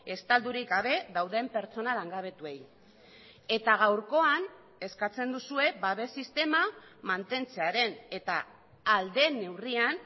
estaldurik gabe dauden pertsona langabetuei eta gaurkoan eskatzen duzue babes sistema mantentzearen eta ahal den neurrian